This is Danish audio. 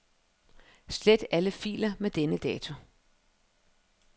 Slet alle filer med denne dato.